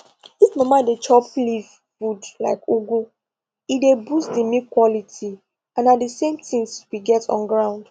if mama dey chop leaf food like ugu e dey boost the milk quality and na the same things we get on ground